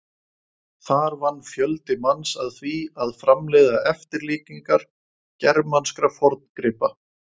Þar vann fjöldi manns að því að framleiða eftirlíkingar germanskra forngripa.